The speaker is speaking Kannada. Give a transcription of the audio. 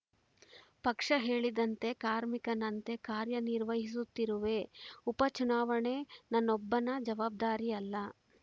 ಪಕ್ಷ ಹೇಳಿದಂತೆ ಕಾರ್ಮಿಕನಂತೆ ಕಾರ್ಯ ನಿರ್ವಹಿಸುತ್ತಿರುವೆ ಉಪ ಚುನಾವಣೆ ನನ್ನೊಬ್ಬನ ಜವಾಬ್ದಾರಿ ಅಲ್ಲ